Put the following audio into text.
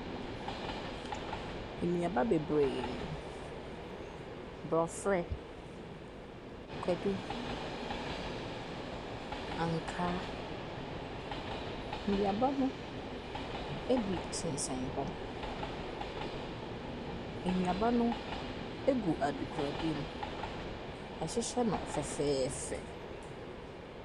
Nnuaba bebree. Brɔfrɛ. Kwadu. Ankaa. Nuaba no ebi sensɛn hɔ. Nnuaba no egu adekoradeɛ mu. Yɛahyehyɛ no fɛfɛɛfɛ.